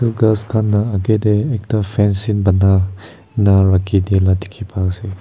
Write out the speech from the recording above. aru ghas khan la akae tae ekta fansin bana ena rakhidila dikhiase.